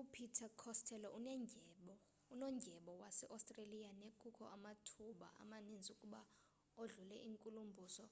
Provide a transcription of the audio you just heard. upeter costello unondyebo waseostreliya nekukho amathuba amaninzi ukuba odlule inkulumbuso